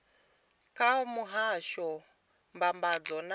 kha muhasho wa mbambadzo na